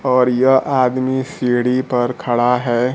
और यह आदमी सीढ़ी पर खड़ा है।